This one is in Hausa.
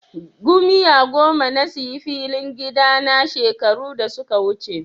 Gomiya goma na sayi filin gida na shekaru da suka wuce.